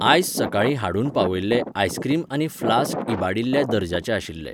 आयज सकाळीं हाडून पावयल्ले आयस्क्रीम आनी फ्लास्क इबाडिल्ल्या दर्जाचे आशिल्ले.